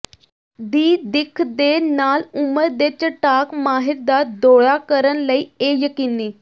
ਦੀ ਦਿੱਖ ਦੇ ਨਾਲ ਉਮਰ ਦੇ ਚਟਾਕ ਮਾਹਿਰ ਦਾ ਦੌਰਾ ਕਰਨ ਲਈ ਇਹ ਯਕੀਨੀ